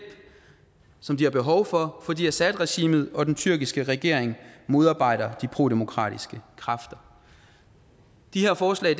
som de har behov for fordi assadregimet og den tyrkiske regering modarbejder de prodemokratiske kræfter de her forslag